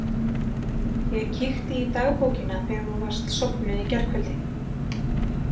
Ég kíkti í dagbókina þegar þú varst sofnuð í gærkvöldi.